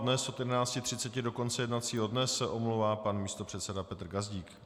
Dnes od 11.30 do konce jednacího dne se omlouvá pan místopředseda Petr Gazdík.